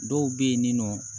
Dɔw bɛ yen nɔ